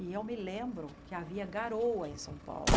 E eu me lembro que havia garoa em São Paulo.